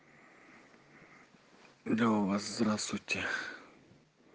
да у вас здравствуйте